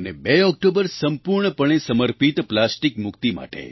અને 2 ઓકટોબર સંપૂર્ણપણે સમર્પિત પ્લાસ્ટીક મુક્તિ માટે